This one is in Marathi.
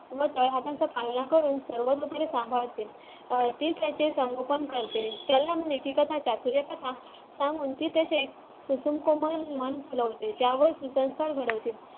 मग काय हातांचा पाळणा करून सांभाळते अं ती त्याची संगोपन करते मन फुलवते त्यावर ती घडवते